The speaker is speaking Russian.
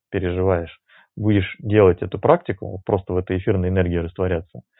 переживаешь будешь делать эту практику просто в этой эфирной энергии растворяться